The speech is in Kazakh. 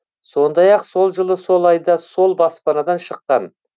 сондай ақ сол жылы сол айда сол баспадан шыққан